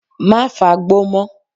Má fagbó mọ́.